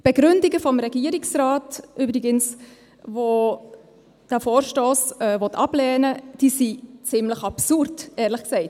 Die Begründungen des Regierungsrates übrigens, der diesen Vorstoss ablehnen will, sind ehrlich gesagt ziemlich absurd.